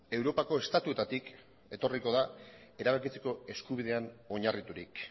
europako estatuetatik etorriko da erabakitzeko eskubidean oinarriturik